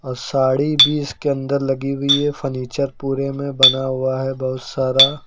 और साड़ी भी इसके अंदर लगी हुई है फर्नीचर पूरे में बना हुआ है बहुत सारा।